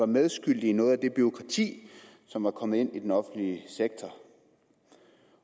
medskyldig i noget af det bureaukrati som er kommet ind i den offentlige sektor